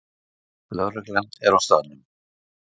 Lögregla er á staðnum